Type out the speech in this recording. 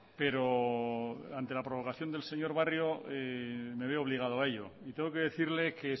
pero ante la provocación del señor barrio me veo obligado a ello y tengo que decirle que